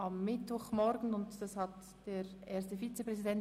Am Mittwochmorgen zwischen 08.00 und 09.00 Uhr findet eine Sitzung statt.